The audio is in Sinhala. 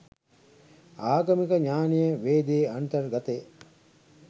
ආගමික ඥානය වේදයේ අන්තර්ගතය